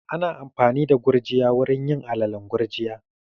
Ana amfani da gurjiya wurin yin alalen gurjiya